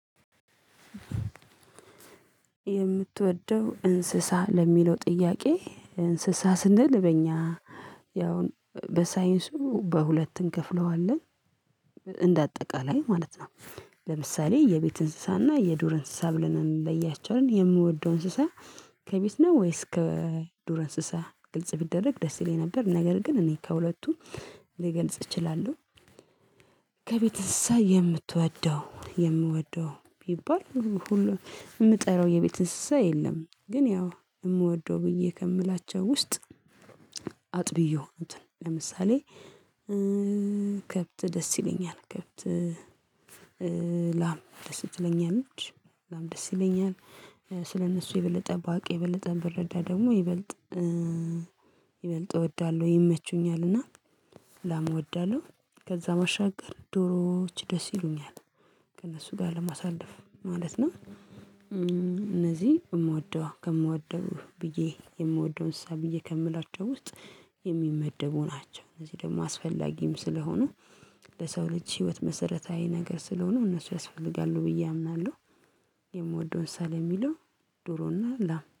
የምትወደው እንስሳ ለሚለው ጥያቄ? እንስሳ ስንል በእኛ ያውን በሳይንሱ በሁለት እንከፍለዋለን እንደ አጠቃላይ ማለት ነው። ለምሳሌ የቤት እንስሳና የዱር እንስሳ ብለን እንለያቸዋለን የምወደው እንስሳ ከቤት ነው ወይስ ከዱረ እንስሳ ግልጽ ቢደረግ ደስ ይለኝ ነበር ነገር ግን እኔ ከሁለቱ ልገልጽ እችላለሁ። ከቤት እንስሳ የምትወደው የምወደው ቢባል ሁሉ የምጠራው የቤት እንስሳ የለም። ግን ያው የምወደው ብዬ ከምላቸው ውስጥ አጥብ የሆኑትን ለምሳሌ ከብት ደስ ይለኛል ከብት ክፍት ላም ደስ ትለኛለች ላም ደስ ይለኛል ስለነሱ የበለጠ ባቅ የበለጠ ብረዳ ደግሞ ይበልጥ ይበልጥ እወዳለሁ ይመቹኛልና። ላም እወዳለሁ ከዛ ባሻገር ዶሮዎች ደስ ይሉኛል ከእነሱ ጋር ለማሳለፍ ማለት ነው። እነዚህ እምወደው ከምወደው ብዬ የምወደውን እንሰሳ ብዬ ከምላቸው ውስጥ የሚመደቡ ናቸው። እነዚህ ደግሞ አስፈላጊም ስለሆኑ ለሰው ልጅ ህይወት መሰረታዊ ነገር ስለሆነ እነሱ ያስፈልጋሉ ብዬ አምናለሁ። የምወደውን እንሰሳ ለሚለው ዶሮና ላም